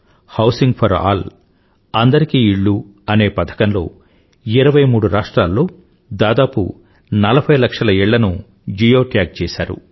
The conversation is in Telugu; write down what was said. హౌసింగ్ ఫోర్ ఆల్అందరికీ ఇళ్ళు అనే పథకంలో 23 రాష్ట్రాల్లో దాదాపు 40లక్షల ఇళ్ళను జియోట్యాగ్ చేసారు